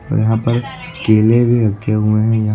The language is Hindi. और यहां पर केले भी रखे हुए हैं यहां--